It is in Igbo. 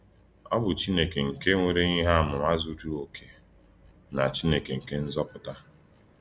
Ọ̀ bụ̀ Chínèkè nke “nwèrè íhè àmùmà zuru òkè” na “Chínèkè nke Nzòpụtà.”